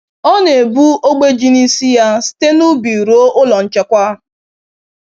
Ọ na ebu ogbe ji n'isi ya site n'ubi ruo ụlọ nchekwa.